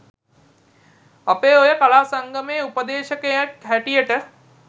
අපේ ඔය කලා සංගමයේ උපදේශකයෙක් හැටියට